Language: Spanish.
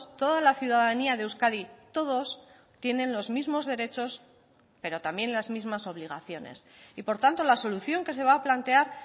toda la ciudadanía de euskadi todos tienen los mismos derechos pero también las mismas obligaciones y por tanto la solución que se va a plantear